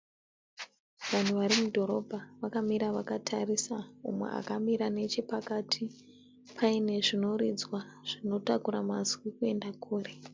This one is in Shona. Vanhu vari mudhorobha vakamira vakatarisa umwe akamira nechepakati paine zvinoridzwa zvinotakura mazwi kuenda kure.